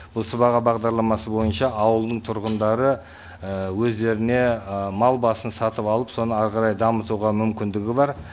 бұл сыбаға бағдарламасы бойынша ауылдың тұрғындары өздеріне мал басын сатып алып соны ары қарай жамытуға мүмкіндігі бар